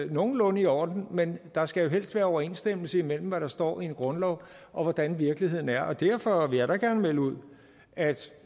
nogenlunde i orden men der skal jo helst være overensstemmelse mellem hvad der står i en grundlov og hvordan virkeligheden er og derfor vil jeg da gerne melde ud at